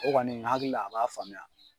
O kɔni n hakili la a b'a faamuya.